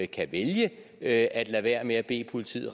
kan vælge at lade være med at bede politiet